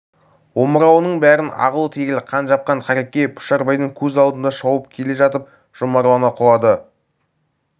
омырауының бәрін ағыл-тегіл қан жапқан қареке пұшарбайдың көз алдында шауып келе жатып жұмарлана құлады